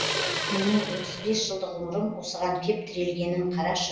менің отыз бес жылдық ғұмырым осыған кеп тірелгенін қарашы